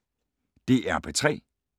DR P3